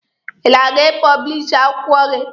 Ị na-aga ị pọblishi akwụkwọ gị?